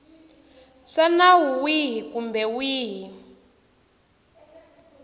swa nawu wihi kumbe wihi